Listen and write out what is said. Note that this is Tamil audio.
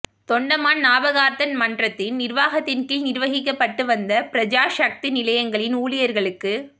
தொண்டமான் ஞாபகார்த்த மன்றத்தின் நிர்வாகத்தின் கீழ் நிர்வகிக்கப்பட்டு வந்த பிரஜாசக்தி நிலையங்களின் ஊழியர்களுக்கு